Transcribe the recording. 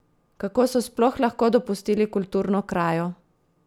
Kako so sploh lahko dopustili kulturno krajo?